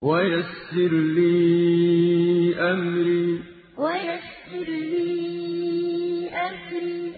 وَيَسِّرْ لِي أَمْرِي وَيَسِّرْ لِي أَمْرِي